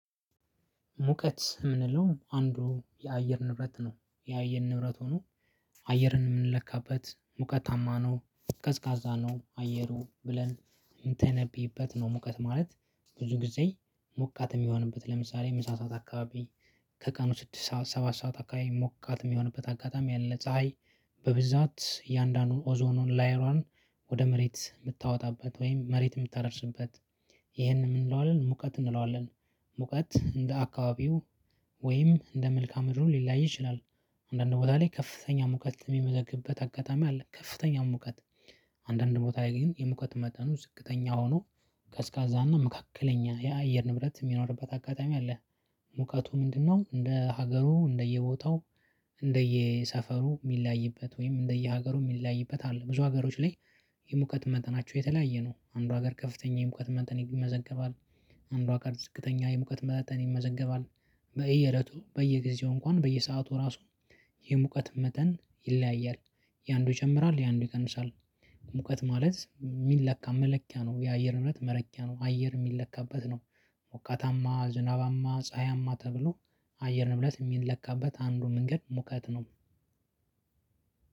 ሙቀት የምንለው አንዱ የአየር ንብረት ነው የአየር ንብረት ሆኖ አየርን የምንለካበት ሙቀታማ ነው ቀዝቃዛ ነው አየሩ ብለን የምንተነብይበት ነው ሙቀት ማለት ብዙ ጊዜ ሞቃት የሚሆንበት ለምሳሌ ምሳ ሰዓት አካባቢ ከቀኑ ስድስት ሰዓት ሰባት ሰዓት አካባቢ ሞቃት የሚሆንበት አጋጣሚ ያለ ፀሀይ በብዛት እያንዳንዱን ኦዞኑን ላይሯን ወደ መሬት የምታወጣበት ወይም መሬት የምታደርስበት ይሄንን የምንለው አለን ሙቀት እንለዋለን። ሙቀት እንደ አካባቢው ወይም እንደ መልካም ምድሩ ሊለያይ ይችላል። አንዳንድ ቦታ ላይ ከፍተኛ ሙቀት የሚመዘገብበት አጋጣሚ አለ። ከፍተኛ ሙቀት አንዳንድ ቦታ ግን የሙቀት መጠኑ ዝቅተኛ ሆኖ ቀዝቃዛና መካከለኛ የአየር ንብረት የሚኖርበት አጋጣሚ አለ። ሙቀቱ ምንድነው? እንደ ሀገሩ እንደየቦታው እንደየሰፈሩ የሚለያይበት ወይም እንደየሀገሩ የሚለያይበት አለ ብዙ ሀገሮች ላይ የሙቀት መጠናቸው የተለያየ ነው። አንዱ ሀገር ከፍተኛ የሙቀት መጠን ይመዘገባል። አንዱ ሀገር ዝቅተኛ የሙቀት መጠን ይመዘገባል። በየእለቱ በየጊዜው እንኳን በየሰአቱ ራሱ የሙቀት መጠን ይለያያል። የአንዱ ይጨምራል የአንዱ ይቀንሳል። ሙቀት ማለት የሚለካ መለኪያ ነው የአየር ሬት መለኪያ ነው አየር የሚለካበት ነው። ሞቃታማ ዝናባማ ፀሀያማ ተብሎ አየር ንብረት የሚለካበት አንዱ መንገድ ሙቀት ነው።